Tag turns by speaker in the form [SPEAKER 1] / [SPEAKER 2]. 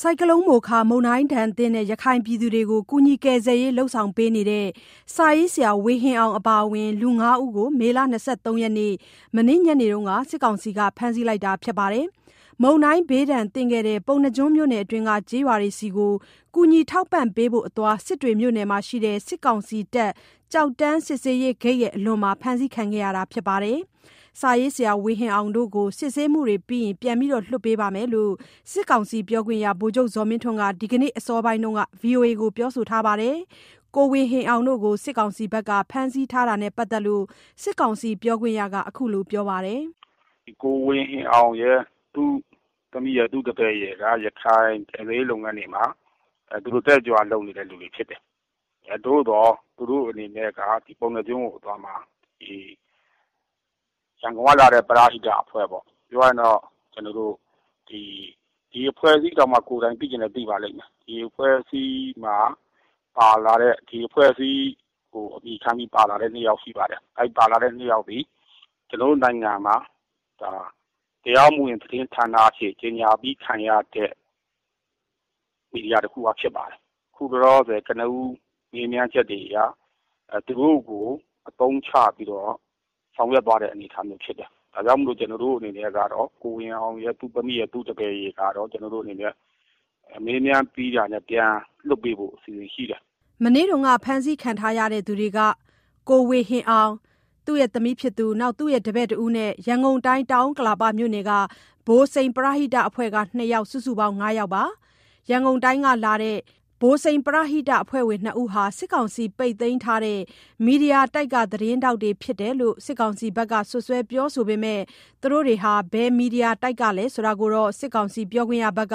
[SPEAKER 1] ဆိုင်ကလုန်း မိုခါ မုန်တိုင်းသင့် ရခိုင်ပြည်သူတွေကို ကူညီ ကယ်ဆယ်ရေး လုပ်ဆောင်နေတဲ့ စာရေးဆရာ ဝေဟင်အောင် အပါအဝင် လူ ၅ဦးကို မေလ ၂၃ ရက်၊ မနေ့ညနေက စစ်ကောင်စီက ဖမ်းဆီးလိုက်တာပါ။ မုန်တိုင်းဘေးသင့်ခဲ့တဲ့ ပုဏ္ဏားကျွန်းမြို့နယ်အတွင်းက ကျေးရွာတွေဆီကို ကူညီထောက်ပံ့ဖို့အသွား စစ်တွေမြို့နယ်မှာရှိတဲ့ စစ်ကောင်စီတပ် ကျောက်တန်း စစ်ဆေးရေးဂိတ် အလွန်မှာ ဖမ်းဆီးခဲ့တာပါ။ စာရေးဆရာ ဝေဟင်အောင်တို့ကို စစ်ဆေးမှုတွေပြီးရင် ပြန်လည်လွှတ်ပေးသွားမယ်လို့ စစ်ကောင်စီပြောခွင့်ရ ဗိုလ်ချုပ် ဇော်မင်းထွန်းက ဒီကနေ့ အစောပိုင်းမှာ ဗွီအိုအေကို ပြောပါတယ်။ ကိုဝေဟင်အောင်တို့ကို စစ်ကောင်စီဘက်က ဖမ်းဆီးရတာနဲ့ပတ်သတ်လို့ စစ်ကောင်စီပြောခွင့်ရက ခုလိုပြောပါတယ်။
[SPEAKER 2] “ကိုဝေဟင်အောင်၊ သူ့သမီးနဲ့ သူ့တပည့်တွေက ရခိုင်ကယ်ဆယ်ရေးလုပ်ငန်းတွေမှာ တက်တက်ကြွကြွ လုပ်နေသူတွေပါ။ သူတို့တွေ ပုဏ္ဏားကျွန်းအသွားမှာ ရန်ကုန်ကလာတဲ့ ပရဟိတအဖွဲ့ပေါ့၊ ဒီအဖွဲ့အစည်းတောင် ကိုယ်တိုင် သိချင်မှသိပါလိမ့်မယ်၊ ဒီအဖွဲ့မှာပါလာတဲ့ ဒီအဖွဲ့အစည်း အမည်ခံပါလာတဲ့ ၂ယောက်ရှိပါတယ်။ အဲဒီပါလာတဲ့ ၂ယောက်ဟာ ကျနော်တို့နိုင်ငံမှာ တရားမဝင် သတင်းဌာနအနေနဲ့ ကြေညာခြင်းခံရတဲ့ မီဒီယာတခုက ဖြစ်ပါတယ်။ ခုလောလောဆယ် ကနဦး မေးမြန်းချက်တွေအရ သူတို့ကို အသုံးချဆောင်ရွက်သွားတဲ့ အနေအထားဖြစ်တယ်။ ကျနော်တို့အနေနဲ့က ကိုဝေဟင်အောင်၊ သူ့သမီးနဲ့ သူ့တပည့်ကိုက မေးမြန်းပြီးတာနဲ့ ပြန်လွှတ်ဖို့ အစီအစဉ်ရှိတယ်
[SPEAKER 1] ။” မနေ့ကဖမ်းဆီးခံရသူတွေက ကိုဝေဟင်အောင်၊ သူ့သမီး၊ သူ့တပည့်နဲ့ ရန်ကုန်တိုင်း၊ တောင်ဥက္ကလာပမြို့နယ်က ဗိုလ်စိန် ပရဟိတအဖွဲ့က နှစ်ယောက် စုစုပေါင်း ၅ယောက်ပါ။ ရန်ကုန်တိုင်းကလာတဲ့ ဗိုလ်စိန်ပရဟိတအဖွဲ့ဝင် ၂ဦးဟာ စစ်ကောင်စီ ပိတ်သိမ်းထားတဲ့ မီဒီယာတိုက်က သတင်းထောက်တွေ ဖြစ်နေတယ်လို့ စစ်ကောင်စီဘက်က စွပ်စွဲပြောဆိုပေမယ့် သူတို့တွေဟာ ဘယ်မီဒီယာတိုက်ကလဲဆိုတာတော့ စစ်ကောင်စီ ပြောခွင့်ရက